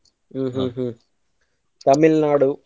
Hmm hmm Tamil Nadu ?